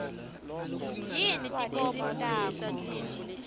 yini tibopho takho